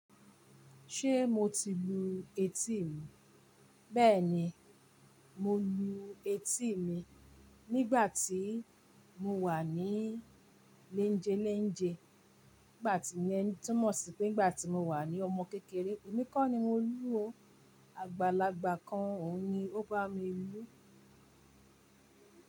Ṣé mo ti lu etí mi? Bẹ́ẹ̀ni, mo lu etí mi nígbà tí mo wà ní léńjelénje, nígbà tí iyẹn tú mọ̀ sí pé nígbà tí mo wà ní ọmọ kékeré. Èmi kọ́ ni mo lu o, Àgbàlagbà kan òun ni ó bá mi lu.